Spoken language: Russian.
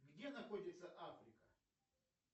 где находится африка